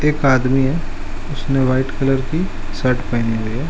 एक आदमी है उसने व्हाइट कलर की शर्ट पहनी है।